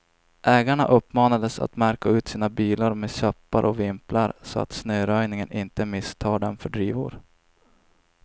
Ägarna uppmanades att märka ut sina bilar med käppar och vimplar, så att snöröjningen inte misstar dem för drivor.